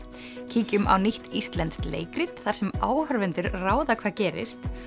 kíkjum á nýtt íslenskt leikrit þar sem áhorfendur ráða hvað gerist